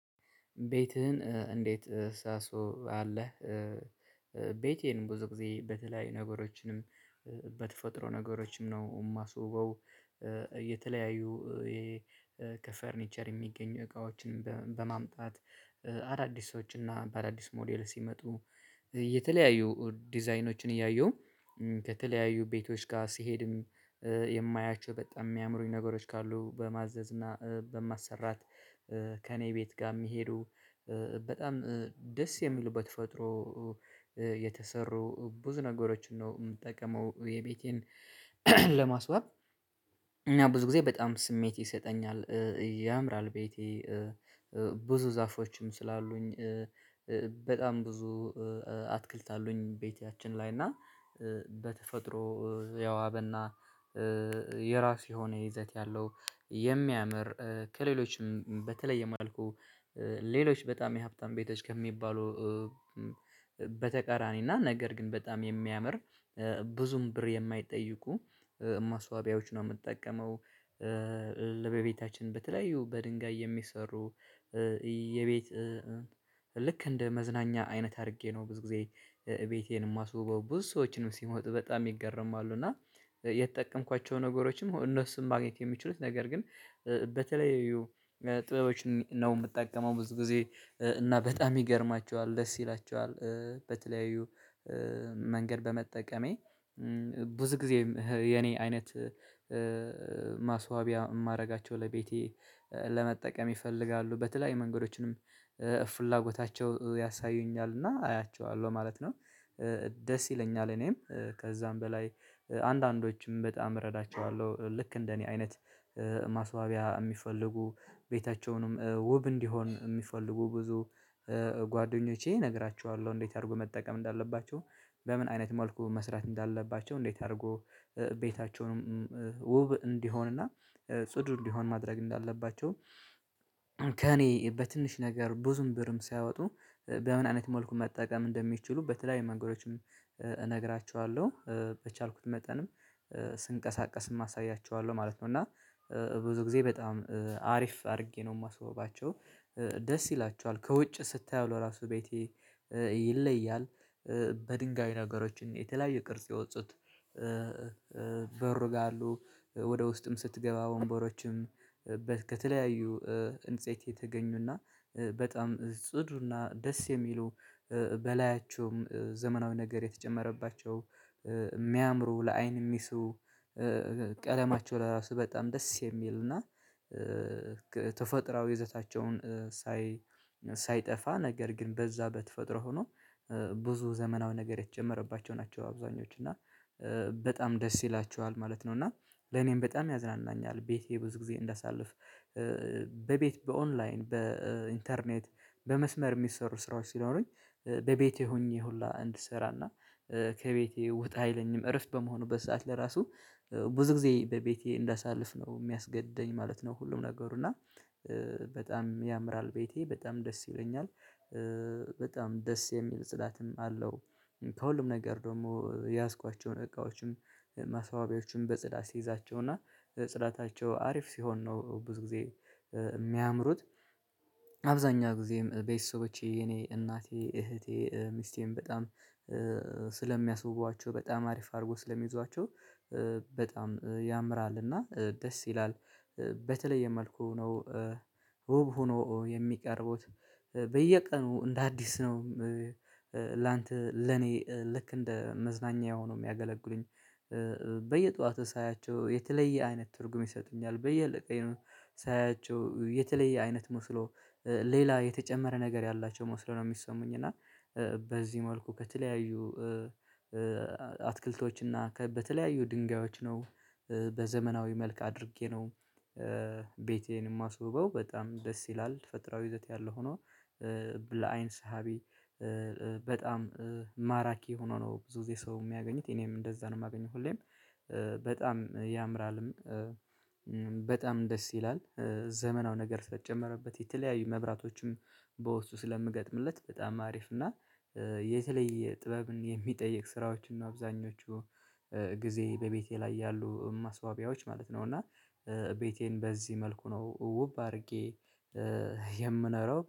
ቤትህን እንዴት ሳሶው አለህ? ቤቴን ብዙ ጊዜ በተለያዩ ነገሮችንም በተፈጥሮ ነገሮችም ነው እማስውበው። የተለያዩ ከፈርኒቸር የሚገኙ እቃዎችን በማምጣት አዳዲሶች እና በአዳዲስ ሞዴል ሲመጡ የተለያዩ ዲዛይኖችን እያየሁ ከተለያዩ ቤቶች ጋር ሲሄድም የማያቸው በጣም የሚያምሩኝ ነገሮች ካሉ በማዘዝ እና በማሰራት ከእኔ ቤት ጋር የሚሄዱ በጣም ደስ የሚሉ በተፈጥሮ የተሰሩ ብዙ ነገሮችን ነው የምጠቀመው። የቤቴን ለማስዋብ እና ብዙ ጊዜ በጣም ስሜት ይሰጠኛል። ያምራል ቤቴ ብዙ ዛፎችም ስላሉኝ በጣም ብዙ አትክልት አሉኝ። ቤትያችን ላይ እና በተፈጥሮ የዋበና የራሱ የሆነ ይዘት ያለው የሚያምር ከሌሎችም በተለየ መልኩ። ሌሎች በጣም የሀብታም ቤቶች ከሚባሉ በተቃራኒና ነገር ግን በጣም የሚያምር ብዙም ብር የማይጠይቁ ማስዋቢያዎች ነው የምጠቀመው። ለቤታችን በተለያዩ በድንጋይ የሚሰሩ የቤት ልክ እንደ መዝናኛ አይነት አድርጌ ነው ብዙ ጊዜ ቤቴን የማስውበው ብዙ ሰዎችም ሲመጡ በጣም ይገረማሉ። እና የተጠቀምኳቸው ነገሮችም እነሱን ማግኘት የሚችሉት ነገር ግን በተለይ ጥበቦችን ነው የምጠቀመው። ብዙ ጊዜ እና በጣም ይገርማችኋል ደስ ይላችኋል በተለያዩ መንገድ በመጠቀሜ ብዙ ጊዜ የኔ አይነት ማስዋቢያ እማድረጋቸው ለቤቴ ይፈልጋሉ በተለይ መንገዶችንም ፍላጎታቸው ያሳዩኛል እና አያቸዋለሁ ማለት ነው። ደስ ይለኛል እኔም ከዛም በላይ አንዳንዶችም በጣም እረዳቸዋለሁ። ልክ እንደኔ አይነት ማስዋቢያ የሚፈልጉ ቤታቸውንም ውብ እንዲሆን የሚፈልጉ ብዙ ጓደኞቼ እነግራችኋለሁ። እንዴት አድርጎ መጠቀም እንዳለባቸው በምን አይነት መልኩ መስራት እንዳለባቸው እንዴት አድርጎ ቤታቸውንም ውብ እንዲሆንና ጽዱ እንዲሆን ማድረግ እንዳለባቸው። ከእኔ በትንሽ ነገር ብዙም ብርም ሳያወጡ በምን አይነት መልኩ መጠቀም እንደሚችሉ በተለያዩ መንገዶችም እነግራችኋለሁ። በቻልኩት መጠንም ስንቀሳቀስም አሳያችኋለሁ ማለት ነው። እና ብዙ ጊዜ በጣም አሪፍ አድርጌ ነው የማስውባቸው። ደስ ይላቸዋል ከውጭ ስታየው ራሱ ቤቴ ይለያል። በድንጋይ ነገሮች የተለያየ ቅርጽ የወጡት በሩ ጋር አሉ። ወደ ውስጥም ስትገባ ወንበሮችም ከተለያዩ ህንጽት የተገኙና በጣም ጽዱና ደስ የሚሉ በላያቸውም ዘመናዊ ነገር የተጨመረባቸው የሚያምሩ ለአይን የሚሱ። ቀለማቸው ለራሱ በጣም ደስ የሚል እና ተፈጥሮአዊ ይዘታቸውን ሳይ ሳይጠፋ ነገር ግን በዛ በተፈጥሮ ሆኖ ብዙ ዘመናዊ ነገር የተጨመረባቸው ናቸው። አብዛኞቹ እና በጣም ደስ ይላችኋል ማለት ነው። እና ለኔም በጣም ያዝናናኛል ቤቴ ብዙ ጊዜ እንዳሳልፍ። በቤት በኦንላይን በኢንተርኔት በመስመር የሚሰሩ ስራዎች ሲኖሩኝ በቤቴ ሆኜ ሁላ እንድሰራና ከቤቴ ውጣ አይለኝም እረፍት በምሆንበት ሰዓት ለራሱ ብዙ ጊዜ በቤቴ እንዳሳልፍ ነው የሚያስገደኝ ማለት ነው። ሁሉም ነገሩ እና በጣም ያምራል ቤቴ በጣም ደስ ይለኛል። በጣም ደስ የሚል ጽዳትም አለው። ከሁሉም ነገር ደግሞ የያዝኳቸውን እቃዎችም ማስዋቢያዎችም በጽዳት ሲይዛቸው እና ጽዳታቸው አሪፍ ሲሆን ነው ብዙ ጊዜ የሚያምሩት። አብዛኛው ጊዜም ቤተሰቦቼ የኔ እናቴ እህቴ ሚስቴም በጣም ስለሚያስውቧቸው በጣም አሪፍ አድርጎ ስለሚይዟቸው በጣም ያምራል እና ደስ ይላል። በተለየ መልኩ ነው ውብ ሆኖ የሚቀርቡት። በየቀኑ እንደ አዲስ ነው። ላንተ ለኔ ልክ እንደ መዝናኛ የሆኑ የሚያገለግሉኝ በየጧቱ ሳያቸው የተለየ አይነት ትርጉም ይሰጡኛል። በየቀኑ ሳያቸው የተለየ አይነት መስሎ ሌላ የተጨመረ ነገር ያላቸው መስሎ ነው የሚሰሙኝ። እና በዚህ መልኩ ከተለያዩ አትክልቶች እና በተለያዩ ድንጋዮች ነው በዘመናዊ መልክ አድርጌ ነው። ቤቴን የማስውበው በጣም ደስ ይላል። ተፈጥሮአዊ ይዘት ያለው ሆኖ ለአይን ሳቢ በጣም ማራኪ ሆኖ ነው። ብዙ ጊዜ ሰው የሚያገኙት እኔም እንደዛ ነው የማገኘው ሁሌም በጣም ያምራልም። በጣም ደስ ይላል። ዘመናዊ ነገር ስለተጨመረበት የተለያዩ መብራቶችም በውስጥ ስለምገጥምለት በጣም አሪፍ እና የተለየ ጥበብን የሚጠይቅ ስራዎችን እና አብዛኞቹ ጊዜ በቤቴ ላይ ያሉ ማስዋቢያዎች ማለት ነው። እና ቤቴን በዚህ መልኩ ነው ውብ አድርጌ የምኖረው